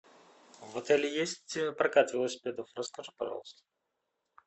в отеле есть прокат велосипедов расскажи пожалуйста